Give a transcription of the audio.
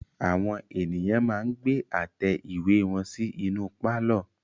Àwọn ènìyàn máa ń gbé àtẹ ìwé wọn sí inú pálọ̀.